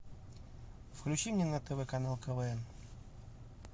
включи мне на тв канал квн